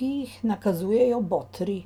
ki jih nakazujejo botri.